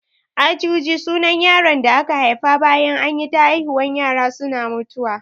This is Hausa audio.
Ajuji sunan yaron da aka haifa bayan anyi ta haihuwan yara suna mutuwa